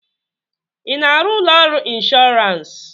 ị na-arụ ụlọ ọrụ ịnshọọransị?